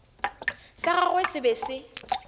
sa gagwe se be se